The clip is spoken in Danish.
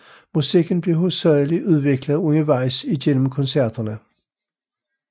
Musikken blev hovedsagelig udviklet undervejs igennem koncerterne